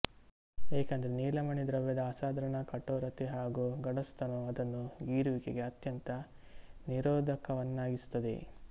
ಏಕೆಂದರೆ ನೀಲಮಣಿ ದ್ರವ್ಯದ ಅಸಾಧಾರಣ ಕಠೋರತೆ ಹಾಗೂ ಗಡಸುತನವು ಅದನ್ನು ಗೀರುವಿಕೆಗೆ ಅತ್ಯಂತ ನಿರೋಧಕವನ್ನಾಗಿಸುತ್ತದೆ